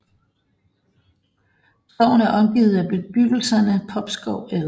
Skoven er omgivet af bebyggelserne Popskov el